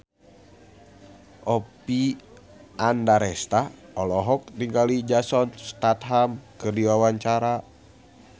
Oppie Andaresta olohok ningali Jason Statham keur diwawancara